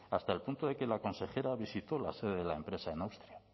hasta el punto de que la consejera visitó la sede de la empresa en austria